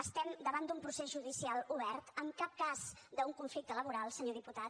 estem davant d’un procés judicial obert en cap cas d’un conflicte laboral senyor diputat